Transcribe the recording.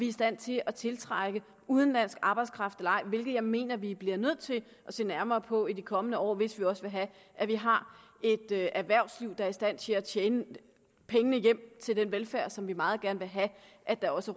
i stand til at tiltrække udenlandsk arbejdskraft eller ej hvilket jeg mener vi bliver nødt til at se nærmere på i de kommende år hvis vi også vil have at vi har et erhvervsliv der er i stand til at tjene pengene hjem til den velfærd som vi meget gerne vil have at der også